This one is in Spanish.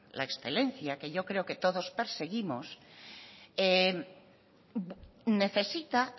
la excelencia que yo creo que todos perseguimos necesita